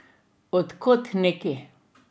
Od kod neki?